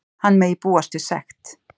Hann megi búast við sekt.